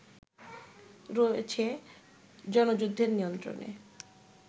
রয়েছে জনযুদ্ধের নিয়ন্ত্রণে